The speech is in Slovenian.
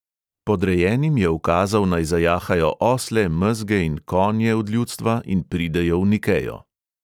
Podrejenim je ukazal, naj "zajahajo osle, mezge in konje od ljudstva in pridejo v nikejo."